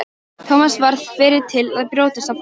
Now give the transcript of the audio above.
Thomas varð fyrri til að brjótast á fætur.